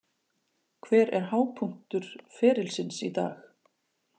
Hver er hápunktur ferilsins í dag?